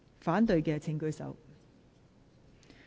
反對的請舉手。